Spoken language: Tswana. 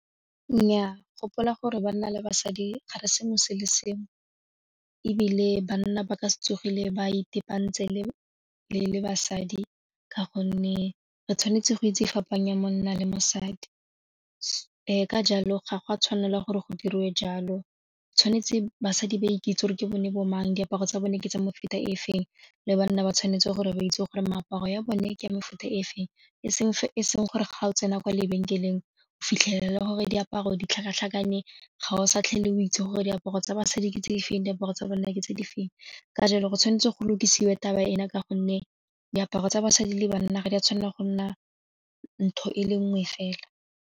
Nnyaa, gopola gore banna le basadi ga re senngwe se le senngwe ebile banna ba ka se tsogile ba itepantse le basadi ka gonne re tshwanetse go itse fapanya monna le mosadi ka jalo ga gwa tshwanela gore go diriwe jalo tshwanetse basadi ba ikitse gore ke bone bo mang diaparo tsa bone ke tsa mefuta e feng le banna ba tshwanetse gore ba itse gore meaparo ya bone ke mefuta e seng fa e seng gore ga o tsena kwa lebenkeleng o fitlhelele gore diaparo di tlhakatlhakane ga o sa itlhele o itse gore diaparo tsa basadi ke tse di feng diaparo tsa banna ke tse di feng ka jalo go tshwanetse go lokisewe taba ena ka gonne diaparo tsa basadi le banna ga di a tshwanela go nna ntho e le nngwe fela.